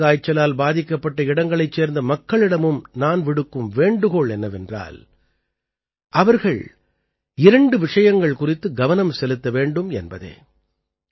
கருங்காய்ச்சலால் பாதிக்கப்பட்ட இடங்களைச் சேர்ந்த மக்களிடமும் நான் விடுக்கும் வேண்டுகோள் என்னவென்றால் அவர்கள் இரண்டு விஷயங்கள் குறித்து கவனம் செலுத்த வேண்டும் என்பதே